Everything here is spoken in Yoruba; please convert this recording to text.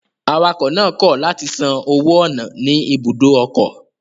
Awakọ̀ náà kọ̀ látì san owó ọ̀nà ní ibùdó ọkọ̀